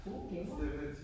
Gode gaver